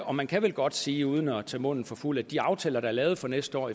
og man kan vel godt sige uden at tage munden for fuld at med de aftaler der er lavet for næste år